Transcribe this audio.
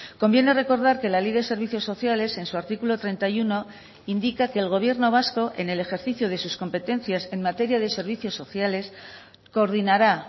conviene recordar que la ley de servicios sociales en su artículo treinta y uno indica que el gobierno vasco en el ejercicio de sus competencias en materia de servicios sociales coordinará